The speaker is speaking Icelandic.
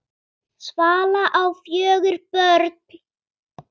Svala á fjögur börn.